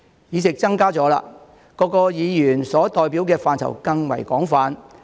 議席增多了，各議員所代表的範疇更為廣泛。